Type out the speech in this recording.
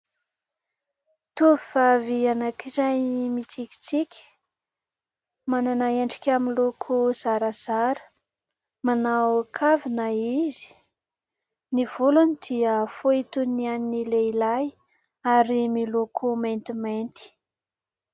Tovovavy anankiray mitsikitsiky, manana endrika miloko zarazara, manao kavina izy. Ny volony dia fohy toy ny an'ny lehilahy ary miloko maintimainty.